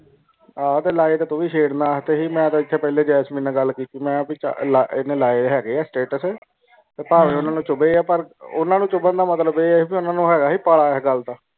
ਆਹੋ ਤੇ ਲਾਇ ਤੁ ਵੀ ਮੈਂ ਤੇ ਐਥੇ ਪਹਿਲੇ ਜੈਸਮੀਨ ਨਾਲ ਗੱਲ ਕੀਤੀ ਮੈਂ ਹੈ ਭਾਈ ਐਨੇ ਲਾਏ ਹੈਗੇ ਸਟੇਟਸ ਤੇ ਪਾਵੇ ਓਨਾ ਚੁੰਬੇ ਆ ਪਾਰ ਓਨਾ ਨੂੰ ਚੁਬਨ ਦਾ ਮਤਲਬ ਇਹ ਹੈ ਬੀ ਓਨਾ ਨੂੰ ਹੈਗਾ ਸੀ ਪਾਲਾ ਇਸ ਗੱਲ ਦਾ